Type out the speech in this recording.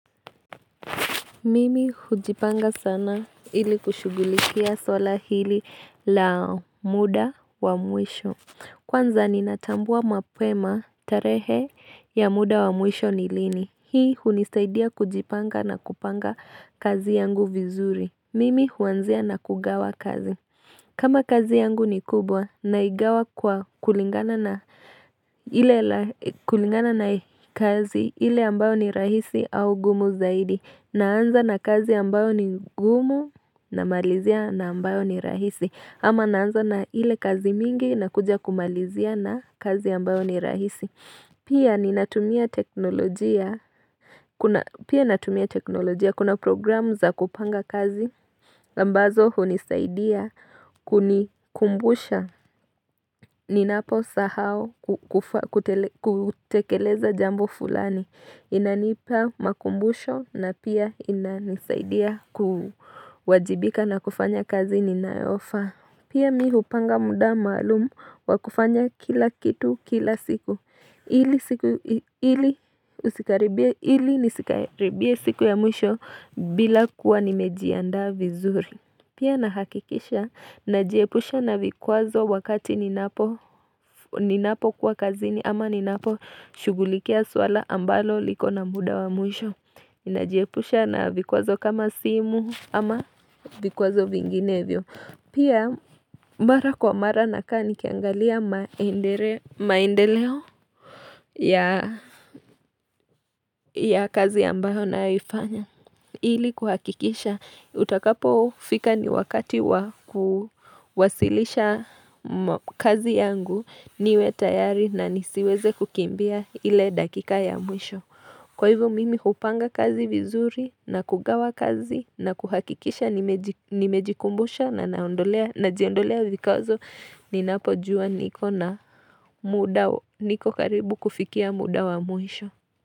Mimi hujipanga sana ili kushughulikia swala hili la muda wa mwisho. Kwanza ninatambua mapema tarehe ya muda wa mwisho ni lini. Hii hunisaidia kujipanga na kupanga kazi yangu vizuri. Mimi huanzia na kugawa kazi. Kama kazi yangu ni kubwa naigawa kwa kulingana na kazi ile ambayo ni rahisi au gumu zaidi. Naanza na kazi ambayo ni gumu na malizia na ambayo ni rahisi ama naanza na ile kazi mingi na kuja kumalizia na kazi ambayo ni rahisi Pia ninatumia teknolojia Pia natumia teknolojia kuna programu za kupanga kazi ambazo hunisaidia kunikumbusha Ninapo sahau kutekeleza jambo fulani inanipa makumbusho na pia inanisaidia kuwajibika na kufanya kazi ninayofa Pia mimi hupanga muda maalumu wa kufanya kila kitu kila siku Ili nisikaribie siku ya mwisho bila kuwa nimejianda vizuri Pia nahakikisha na jiepusha na vikwazo wakati ninapo kuwa kazini ama ninapo shughulikia swala ambalo liko na muda wa mwisho ninajiepusha na vikwazo kama simu ama vikwazo vinginevyo Pia mara kwa mara nakaa nikiangalia maendeleo ya kazi ambayo nayohifanya Ili kuhakikisha utakapo fika ni wakati wa kuwasilisha kazi yangu niwe tayari na nisiweze kukimbia ile dakika ya mwisho kwa hivyo mimi kupanga kazi vizuri na kugawa kazi na kuhakikisha nimejikumbusha na naondolea na jiondolea vikazo ninapo jua niko na muda niko karibu kufikia muda wa mwisho.